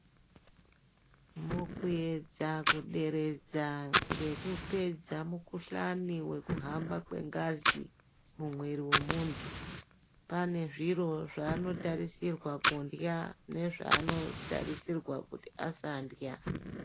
Mukuyedza kuderedza ngekupedza mukuhlani wekuhamba kwengazi mumwiri wemuntu, pane zviro zvaanotarisirwa kundya nezvaanotarisirwa kuti asandya.